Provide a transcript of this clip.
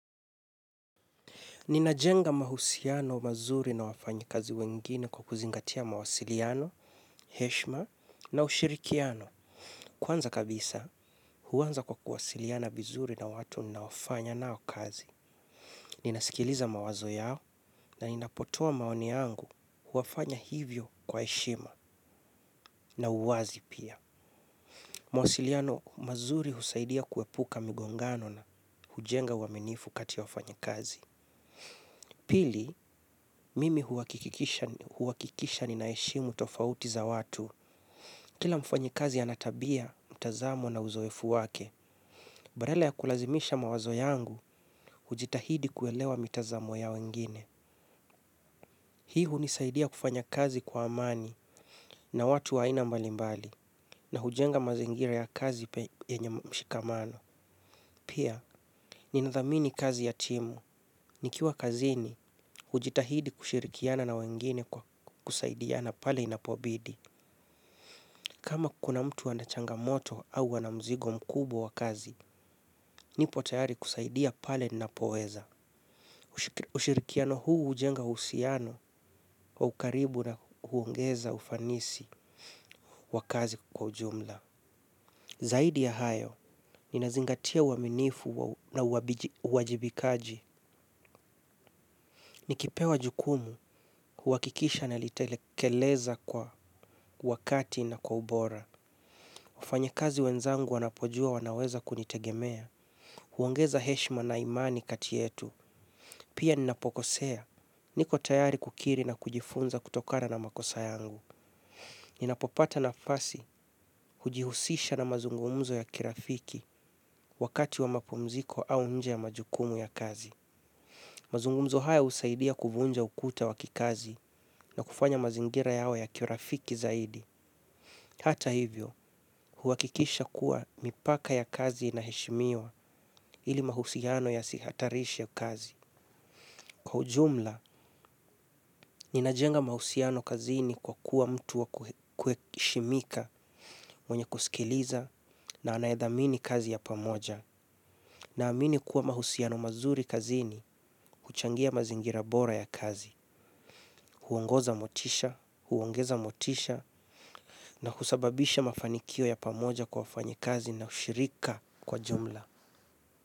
Ninajenga mahusiano mazuri na wafanyikazi wengine kwa kuzingatia mawasiliano, heshima na ushirikiano. Kwanza kabisa, huanza kwa kuwasiliana vizuri na watu ninaofanya nao kazi. Ninasikiliza mawazo yao na ninapotoa maoni yangu hufanya hivyo kwa heshima na uwazi pia. Mawasiliano mazuri husaidia kuepuka migongano na hujenga uaminifu kati ya wafanya kazi. Pili, mimi huakikisha ninaheshimu tofauti za watu. Kila mfanyikazi ana tabia, mtazamo na uzoefu wake. Badala ya kulazimisha mawazo yangu, hujitahidi kuelewa mitazamo ya wengine. Hii hunisaidia kufanya kazi kwa amani na watu wa aina mbalimbali na hujenga mazingira ya kazi yenye mshikamano. Pia, ninadhamini kazi ya timu. Nikiwa kazini, hujitahidi kushirikiana na wengine kwa kusaidiana pale inapobidi. Kama kuna mtu ana changamoto au ana mzigo mkubwa wa kazi, nipo tayari kusaidia pale ninapoweza. Ushirikiano huu hujenga uhusiano wa ukaribu na kuongeza ufanisi wa kazi kwa ujumla. Zaidi ya hayo, ninazingatia uaminifu na uwajibikaji. Nikipewa jukumu, huakikisha nalitelekeleza kwa wakati na kwa ubora. Wafanyikazi wenzangu wanapojua wanaweza kunitegemea. Huongeza heshima na imani kati yetu. Pia ninapokosea. Niko tayari kukiri na kujifunza kutokana na makosa yangu. Ninapopata nafasi hujihusisha na mazungumzo ya kirafiki wakati wa mapumziko au nje ya majukumu ya kazi. Mazungumzo haya husaidia kuvunja ukuta wa kikazi na kufanya mazingira yawe ya kirafiki zaidi. Hata hivyo, huakikisha kuwa mipaka ya kazi inaheshimiwa ili mahusiano yasihatarishe kazi. Kwa ujumla, ninajenga mahusiano kazini kwa kuwa mtu wa kuheshimika mwenye kusikiliza na anayedhamini kazi ya pamoja. Naamini kuwa mahusiano mazuri kazini, huchangia mazingira bora ya kazi, huongoza motisha, huongeza motisha, na husababisha mafanikio ya pamoja kwa wafanyikazi na ushirika kwa jumla.